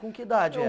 Com que idade era?